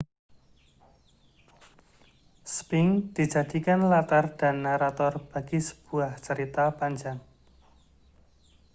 sphinx dijadikan latar dan narator bagi sebuah cerita panjang